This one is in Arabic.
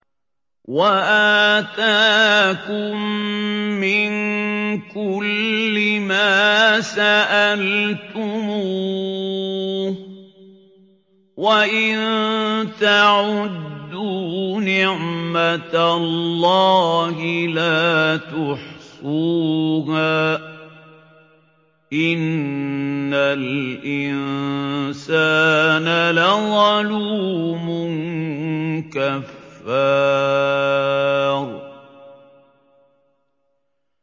وَآتَاكُم مِّن كُلِّ مَا سَأَلْتُمُوهُ ۚ وَإِن تَعُدُّوا نِعْمَتَ اللَّهِ لَا تُحْصُوهَا ۗ إِنَّ الْإِنسَانَ لَظَلُومٌ كَفَّارٌ